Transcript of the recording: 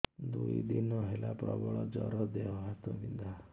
ଦୁଇ ଦିନ ହେଲା ପ୍ରବଳ ଜର ଦେହ ହାତ ବିନ୍ଧା